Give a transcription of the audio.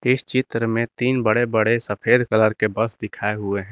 इस चित्र में तीन बड़े बड़े सफेद कलर के बस दिखाए हुए है।